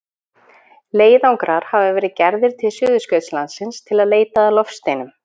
Leiðangrar hafa verið gerðir til Suðurskautslandsins til að leita að loftsteinum.